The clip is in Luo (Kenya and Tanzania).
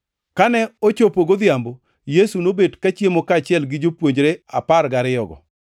Kane ochopo godhiambo, Yesu nobet kachiemo kaachiel gi jopuonjre apar gariyogo.